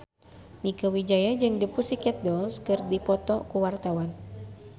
Mieke Wijaya jeung The Pussycat Dolls keur dipoto ku wartawan